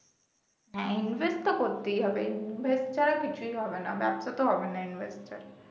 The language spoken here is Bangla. হ্যাঁ invest তো করতেই হবে invest ছাড়া কিছুই হবে না ব্যবসাতো হবে না invest ছাড়া